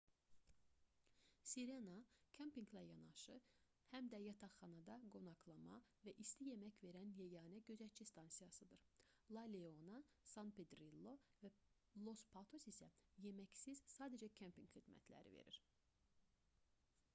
sirena kempinqlə yanaşı həm də yataqxanada qonaqlama və isti yemək verən yeganə gözətçi stansiyasıdır la leona san pedrillo və los patos isə yeməksiz sadəcə kempinq xidmətləri verir